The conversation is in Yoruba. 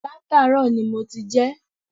Látàárò ni mo ti jé